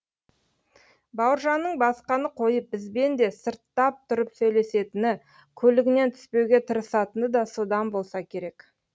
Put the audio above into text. бауыржанның басқаны қойып бізбен де сырттап тұрып сөйлесетіні көлігінен түспеуге тырысатыны да содан болса керек